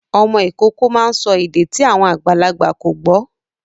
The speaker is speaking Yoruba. Ọmọ Ìkọkọ má ń sọ èdè tí àwọn àgbàlagbà kọ gbó.